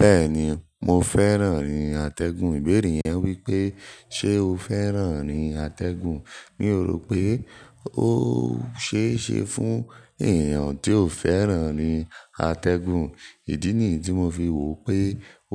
Bẹ́ẹ̀ni, mo fẹ́ràn irin atẹ́gùn. Ìbéèrè yẹn wípé ṣe o fẹ́ràn rin atẹ́gùn? Mi ò rò pé ó ṣe é ṣe fún èèyàn tí ò fẹ́ràn rin atẹ́gùn. Ìdí nìyí tí mo fi wò pé